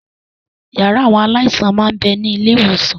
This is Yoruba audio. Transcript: Yàrá àwọn aláìsàn máa ń bẹni ilé ìwòsàn